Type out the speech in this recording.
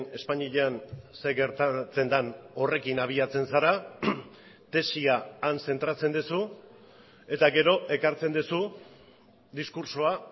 espainian zer gertatzen den horrekin abiatzen zara tesia han zentratzen duzu eta gero ekartzen duzu diskurtsoa